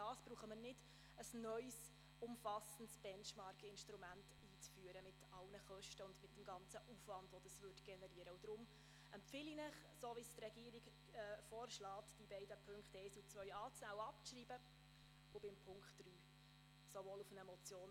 Den Hinweis, die Links auf der Webseite der JGK könnten etwas transparenter oder besser dargestellt werden, nehme ich gerne entgegen.